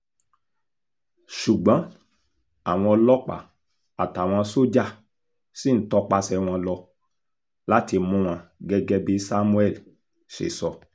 ṣùgbọ́n àwọn ọlọ́pàá àtàwọn sójà ṣì ń tọpasẹ̀ wọn lọ láti mú wọn gẹ́gẹ́ bí samuel ṣe sọ